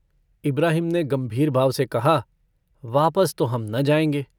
इब्राहिम ने गम्भीर भाव से कहा - वापस तो हम न जाएंगे।